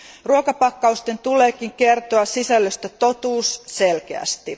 Ruokapakkausten tulee kertoa sisällöstä totuus selkeästi.